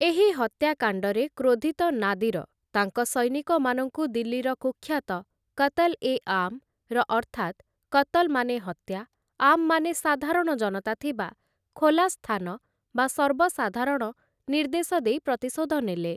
ଏହି ହତ୍ୟାକାଣ୍ଡରେ କ୍ରୋଧିତ ନାଦିର, ତାଙ୍କ ସୈନିକମାନଙ୍କୁ ଦିଲ୍ଲୀର କୁଖ୍ୟାତ 'କତ୍‌ଲଏଆମ୍‌' ର ଅର୍ଥାତ୍‌ " 'କତ୍‌ଲ' ମାନେ ହତ୍ୟା, 'ଆମ୍' ମାନେ ସାଧାରଣ ଜନତା ଥିବା ଖୋଲା ସ୍ଥାନ ବା ସର୍ବସାଧାରଣ" ନିର୍ଦ୍ଦେଶ ଦେଇ ପ୍ରତିଶୋଧ ନେଲେ ।